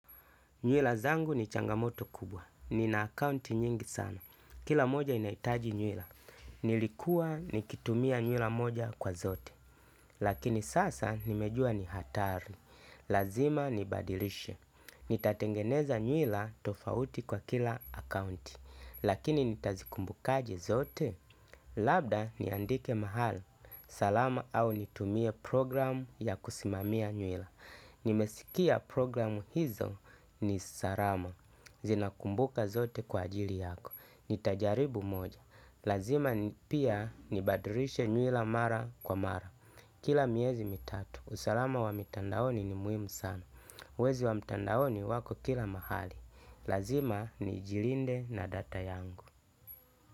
Nywila zangu ni changamoto kubwa. Nina akaunti nyingi sana. Kila moja inaitaji nywila. Nilikuwa nikitumia nywila moja kwa zote. Lakini sasa nimejua ni hatari. Lazima nibadilishe. Nitatengeneza nywila tofauti kwa kila akaunti. Lakini nitazikumbukaje zote? Labda niandike mahala. Salama au nitumie programu ya kusimamia nywila. Nimesikia programu hizo ni salama zinakumbuka zote kwa ajili yako. Nitajaribu moja. Lazima pia nibadilishe nywila mara kwa mara. Kila miezi mitatu. Usalama wa mitandaoni ni muhimu sana. Wezi wa mitandaoni wako kila mahali. Lazima nijilinde na data yangu.